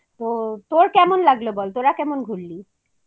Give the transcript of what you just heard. তো তোর কেমন লাগল বল তোরা কেমন ঘুরলি?